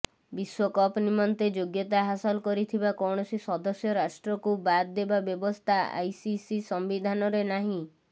ବିଶ୍ବକପ୍ ନିମନ୍ତେ ଯୋଗ୍ୟତା ହାସଲ କରିଥିବା କୌଣସି ସଦସ୍ୟ ରାଷ୍ଟ୍ରକୁ ବାଦ୍ ଦେବା ବ୍ୟବସ୍ଥା ଆଇସିସି ସମ୍ବିଧାନରେ ନାହିଁ